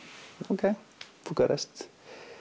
ókei Búkarest